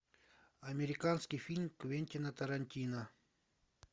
американский фильм квентина тарантино